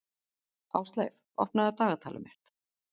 Ásleif, opnaðu dagatalið mitt.